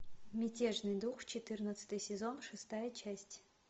мятежный дух четырнадцатый сезон шестая часть